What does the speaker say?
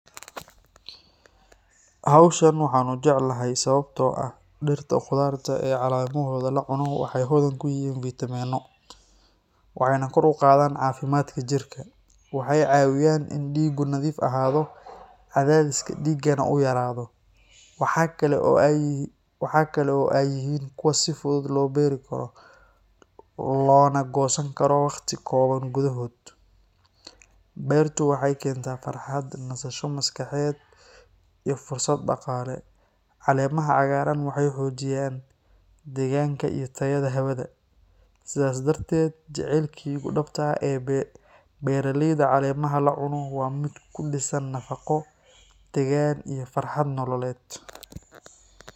Howshan waxan u jeclahay sababtoo ah dhirta khudaarta ee caleemahooda la cuno waxay hodan ku yihiin fiitamiinno , waxayna kor u qaadaan caafimaadka jirka. Waxay caawiyaan in dhiiggu nadiif ahaado, cadaadiska dhiiggana uu yaraado. Waxa kale oo ay yihiin kuwo si fudud loo beeri karo, loona goosan karo waqti kooban gudaheed. Beertu waxay ii keentaa farxad, nasasho maskaxeed, iyo fursad dhaqaale. Caleemaha cagaaran waxay xoojiyaan deegaanka iyo tayada hawada. Sidaas darteed, jacaylkaygu dhabta ah ee beeraleyda caleemaha la cuno waa mid ku dhisan nafaqo, degaan, iyo farxad nololeed.